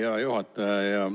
Hea juhataja!